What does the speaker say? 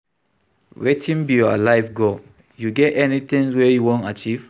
Wetin be your life goal, you get any tings wey you wan achieve?